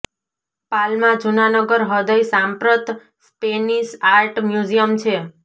Palma જૂના નગર હૃદય સાંપ્રત સ્પેનિશ આર્ટ મ્યુઝીયમ છે